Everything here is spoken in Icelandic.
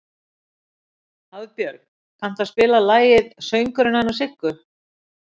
Hafbjörg, kanntu að spila lagið „Söngurinn hennar Siggu“?